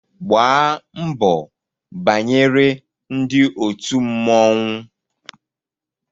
Gbaa mbọ banyere ndị òtù mmọnwụ!